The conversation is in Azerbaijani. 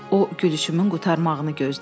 O gülüşümün qurtarmağını gözlədi.